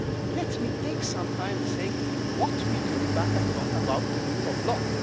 law. Let me take some time to say what we do back at home about the rule of